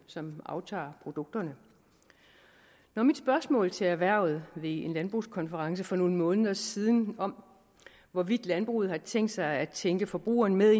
som aftager produkterne når mit spørgsmål til erhvervet ved en landbrugskonference for nogle måneder siden om hvorvidt landbruget har tænkt sig at tænke forbrugerne med